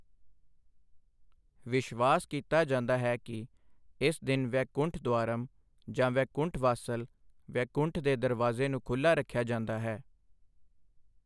ਵਿਸ਼ਵਾਸ ਕੀਤਾ ਜਾਂਦਾ ਹੈ ਕਿ ਇਸ ਦਿਨ ਵੈਕੁੰਠ ਦੁਆਰਮ ਜਾਂ ਵੈਕੁੰਠ ਵਾਸਲ, 'ਵੈਕੁੰਠ ਦੇ ਦਰਵਾਜ਼ੇ' ਨੂੰ ਖੁੱਲ੍ਹਾ ਰੱਖਿਆ ਜਾਂਦਾ ਹੈ।